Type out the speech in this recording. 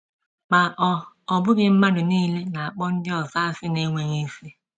Ma ọ ọ bụghị mmadụ nile na - akpọ ndị ọzọ asị na - enweghị isi.